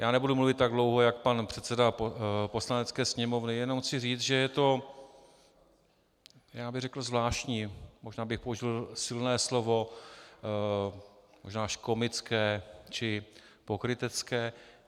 Já nebudu mluvit tak dlouho, jak pan předseda Poslanecké sněmovny, jenom chci říci, že je to já bych řekl zvláštní, možná bych použil silné slovo, možná až komické či pokrytecké.